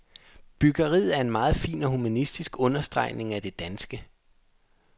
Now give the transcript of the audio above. Byggeriet er en meget fin og humanistisk understregning af det danske.